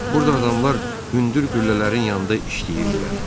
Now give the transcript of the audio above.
Burda adamlar hündür qüllələrin yanında işləyirdilər.